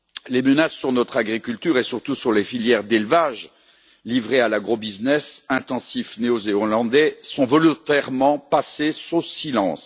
Les menaces pesant sur notre agriculture, et surtout sur les filières d'élevage, livrées à l'agrobusiness intensif néozélandais, sont volontairement passées sous silence.